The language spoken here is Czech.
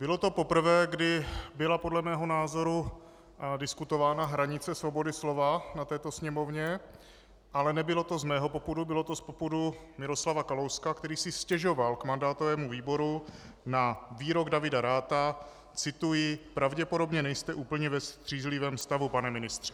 Bylo to poprvé, kdy byla podle mého názoru diskutována hranice svobody slova na této sněmovně, ale nebylo to z mého popudu, bylo to z popudu Miroslava Kalouska, který si stěžoval k mandátovému výboru na výrok Davida Ratha - cituji: "Pravděpodobně nejste úplně ve střízlivém stavu, pane ministře."